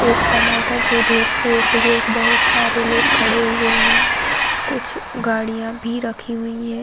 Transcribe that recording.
एक टमाटर के ढेर के इर्दगिर्द बहोत सारे लोग खड़े हुवे हैं। कुछ गाड़ियाँ भी रखी हुवी हैं।